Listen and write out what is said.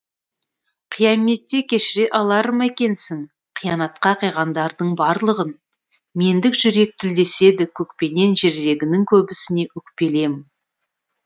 қияметте кешіре алар ма екенсің қиянатқа қиғандардың барлығын мендік жүрек тілдеседі көкпенен жердегінің көбісіне өкпелі ем